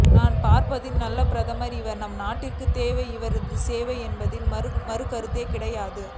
நான் பார்த்ததில் நல்ல பிரதமர் இவர் நமது நாட்டிற்கு தேவை இவரது சேவை என்பதில் மாற்றுகருத்து கிடையாது